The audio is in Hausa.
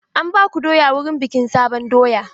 An baku doya wurin bikin sabon doya?